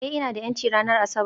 Ee, ina da 'yanci ranar Asabar